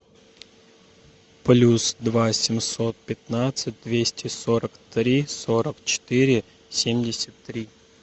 плюс два семьсот пятнадцать двести сорок три сорок четыре семьдесят три